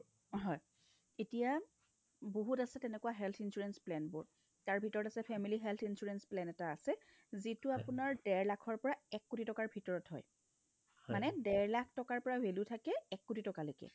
হয়, এতিয়া বহুত আছে তেনেকুৱা health insurance plan বোৰ তাৰভিতৰত আছে family health insurance plan এটা আছে যিটো আপোনাৰ ডেৰ লাখৰ পৰা এক কোটি টকাৰ ভিতৰত হয় মানে ডেৰ লাখৰ পৰা value থাকে এক কোটি টকালৈকে